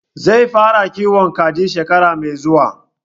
Zai fara kiwon kaji shekara mai zuwa